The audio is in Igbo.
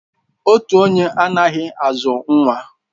Otu onye anaghị azụ nwa